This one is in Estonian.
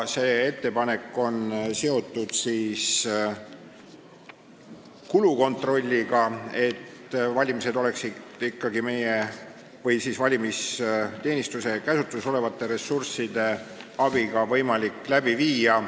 See ettepanek on seotud kulude kontrolliga, et valimisi oleks meie või valimisteenistuse käsutuses olevate ressursside abil võimalik läbi viia.